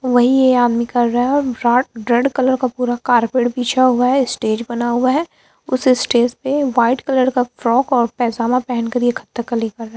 वहीं ये आदमी कर रहा है रेड कलर कारपेट का पूरा बिछा हुआ है स्टेज बना हुआ है उस स्टेज पे व्हाइट कलर का फ्रॉक और पेजामा पेहन कर ये कथक्कली कर रहा--